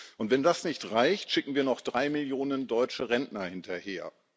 Und wenn das nicht reicht, schicken wir noch drei Millionen deutsche Rentner hinterher.